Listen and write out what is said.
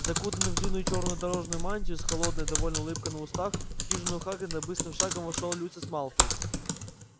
закутанный в длинную чёрную дорожную мантию с холодной довольной улыбкой на устах в хижину хагрида быстрым шагом вошёл люциус малфой